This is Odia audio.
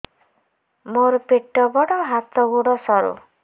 ମୋର ପେଟ ବଡ ହାତ ଗୋଡ ସରୁ